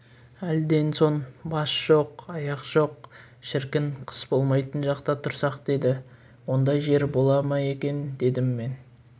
әлден соң бас жоқ аяқ жоқ шіркін қыс болмайтын жақта тұрсақ деді ондай жер бола ма екен дедім мен